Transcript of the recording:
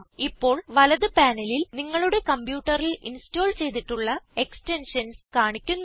ഇപ്പോൾ വലത് പാനലിൽ നിങ്ങളുടെ കംപ്യൂട്ടറിൽ ഇൻസ്റ്റോൾ ചെയ്തിട്ടുള്ള എക്സ്റ്റെൻഷൻസ് കാണിക്കുന്നു